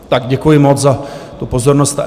Tak děkuji moc za tu pozornost.